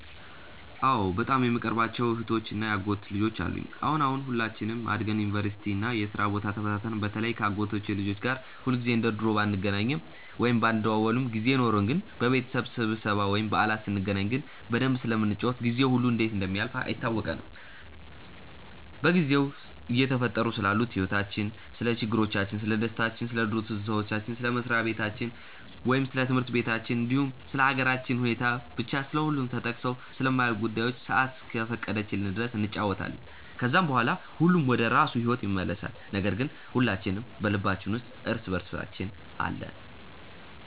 አዎ በጣም የምቀርባቸው እህቶች እና የአጎት ልጆች አሉኝ። አሁን አሁን ሁላችንም አድገን ዩኒቨርሲቲ እና የስራ ቦታ ተበታትነን በተለይ ከ አጎቶቼ ልጆች ጋር ሁልጊዜ እንደ ድሮ ባንገናኝም ወይም ባንደዋወልም ጊዜ ኖርን ግን በቤተሰብ ስብስብ ወይም በዓላት ስንገናኝ ግን በደንብ ስለምንጫወት ጊዜው ሁላ እንዴት እንደሚያልፍ አይታወቀንም። በጊዜው እየተፈጠሩ ስላሉት ህይወቲቻችን፣ ስለ ችግሮቻችን፣ ስለደስታችን፣ ስለ ድሮ ትዝታዎች፣ ስለ መስሪያ በታቸው ወይም ስለ ትምህርት በታችን እንዲሁም ስለ ሃገራችን ሁኔታ፤ ብቻ ስለሁሉም ተጠቅሰው ስለማያልቁ ጉዳዮች ሰአት እስከፈቀደችልን ድረስ እንጫወታለን። ከዛም በኋላ ሁሉም ወደራሱ ሂዎት ይመለሳል ነገር ግን ሁላችን በልባችን ውስጥ እርስ በእርሳችን አለን።